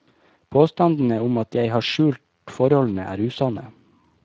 Påstandene om at jeg har skjult forholdene, er usanne.